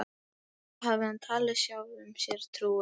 Það hafði hann talið sjálfum sér trú um.